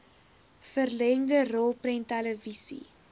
vollengte rolprent televisie